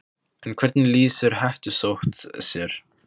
En hvernig lýsir hettusótt sér?